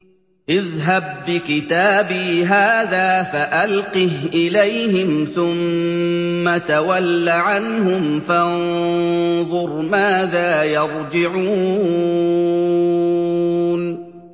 اذْهَب بِّكِتَابِي هَٰذَا فَأَلْقِهْ إِلَيْهِمْ ثُمَّ تَوَلَّ عَنْهُمْ فَانظُرْ مَاذَا يَرْجِعُونَ